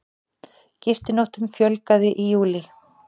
Gistinóttum fjölgaði í júlí